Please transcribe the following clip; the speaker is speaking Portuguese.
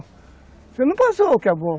Você não passou o que é bom.